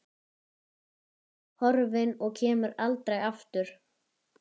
Horfin og kemur aldrei aftur.